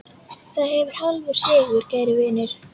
Það er hálfur sigur, kæri vinur.